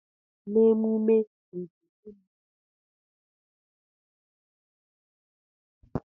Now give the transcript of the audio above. Na emume nke igbanari ihe mberede ana enye ndi mmadu ego.